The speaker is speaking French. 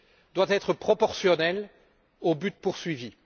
doit être proportionnelle au but poursuivi.